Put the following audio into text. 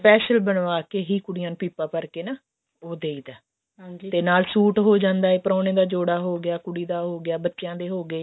special ਬਣਵਾ ਕੇ ਹੀ ਕੁੜੀਆਂ ਨੂੰ ਪੀਪਾ ਭਰ ਕੇ ਹੀ ਉਹ ਦਈਦਾ ਤੇ ਨਾਲ ਸੂਟ ਹੋ ਜਾਂਦਾ ਪ੍ਰੋਣਾ ਦਾ ਜੋੜਾ ਹੋਗਿਆ ਕੁੜੀ ਦਾ ਹੋਗਿਆ ਬੱਚਿਆਂ ਦੇ ਹੋਗੇ